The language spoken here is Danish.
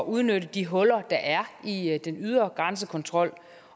udnytte de huller der er i den ydre grænsekontrol